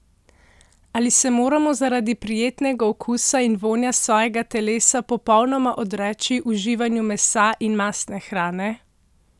Ali se moramo zaradi prijetnega okusa in vonja svojega telesa popolnoma odreči uživanju mesa in mastne hrane?